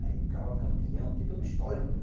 Aí o cavalo campeão, tem todo um histórico, né?